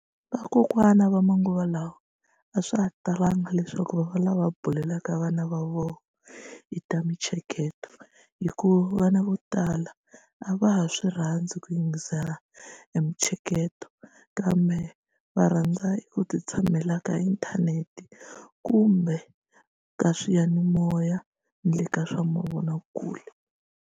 Vakokwana va manguva lawa a swa ha talanga leswaku va va lava bulelaka vana va vona hi ta mintsheketo hikuva vana vo tala a va ha swi rhandzi ku yingisela emitsheketo kambe va rhandza ku ti tshamela ka inthanete kumbe ka swiyanimoya na le ka swa mavonakule.